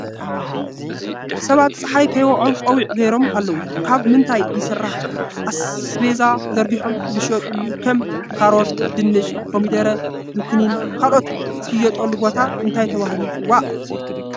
ሰባት ፀሓይ ከይውዖም ቆቢዕ ገይሮም ኣለዉ ካብ ምንታይ ይስረሕ ? አስቤዛ ዘርጊሖም ዝሸጥሎ ከም ካሮት፣ ድንሽ ፣ኮሚደረ፣ ዝኩኒን ካልኦትን ዝሽየጠሎ ቦታ እንታይ ተባሂሉ ይፅዋዕ ?